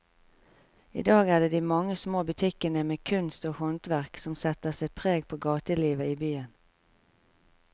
I dag er det de mange små butikkene med kunst og håndverk som setter sitt preg på gatelivet i byen.